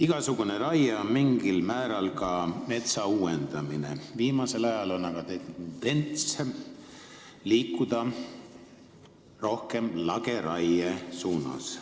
Igasugune raie on mingil määral ka metsa uuendamine, viimasel ajal on aga tendents liikuda rohkem lageraie suunas.